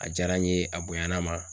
A diyara n ye a bonyana n ma.